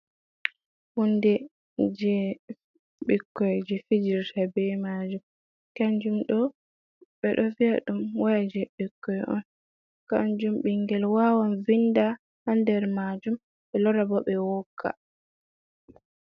Hunde je bikkoi ji fijirta ɓe majum kanjum ɗo ɓeɗo viya ɗum woyaje bikkoi on kanjum bingel wawan vinda ha nder majum be lora bo be wogga.